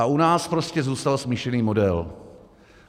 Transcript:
A u nás prostě zůstal smíšený model.